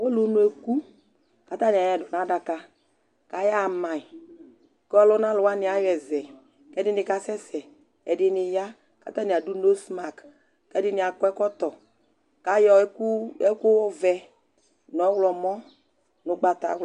ulunu eku, ku ata ni ayɔɛ du nu adaka, ku aya ma yi , ku ɔluna alu wʋani ayɔ yi yɔ zɛ , ku ɛdi ka sɛsɛ , ku ɛdini ya ku ata ni adu nosmak , ku ɛdi akɔ ɛkɔtɔ, ku ayɔ ɛku, ɛku vɛ, nu ɔwlɔmɔ, nu ugbata wla